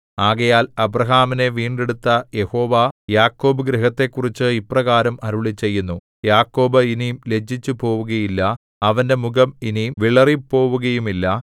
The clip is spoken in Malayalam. ആകയാൽ അബ്രാഹാമിനെ വീണ്ടെടുത്ത യഹോവ യാക്കോബ് ഗൃഹത്തെക്കുറിച്ച് ഇപ്രകാരം അരുളിച്ചെയ്യുന്നു യാക്കോബ് ഇനി ലജ്ജിച്ചുപോവുകയില്ല അവന്റെ മുഖം ഇനി വിളറിപ്പോവുകയുമില്ല